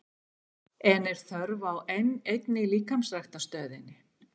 En er þörf á enn einni líkamsræktarstöðinni?